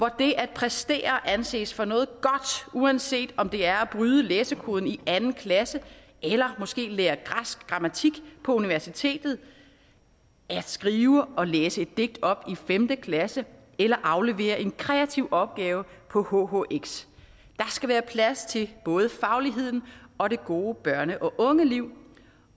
det at præstere anses for noget godt uanset om det er at bryde læsekoden i anden klasse eller måske lære græsk grammatik på universitetet at skrive og læse et digt op i femte klasse eller aflevere en kreativ opgave på hhx der skal være plads til både fagligheden og det gode børne og ungeliv